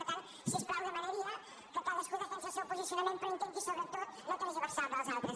per tant si us plau demanaria que cadascú defensi el seu posicionament però que intenti sobretot no tergiversar el dels altres